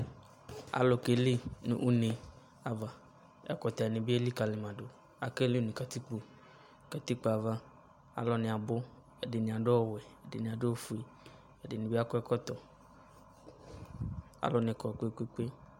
Alu keli no une ava Ɛkutɛ ne be elikali ma do Akeli no katikpo Katikpo ava, alu wane abu Ɛdene ado awuwɛ, ɛdene ado awufue, ɛdene be akɔ ɛkɔtɔ Alu ne kɔ kpekpe